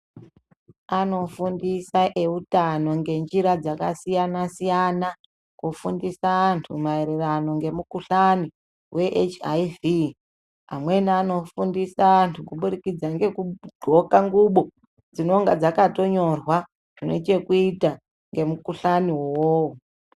Anofundisa eutano ngenjira dzakasiyana-siyana, kufundisa antu maererano ngemukuhlani ve hiv. Amweni anofundisa antu kubudikidza ngekudhloka ngubo dzinonga dzakatonyorwa zvine chekuita ngemukuhlanivo.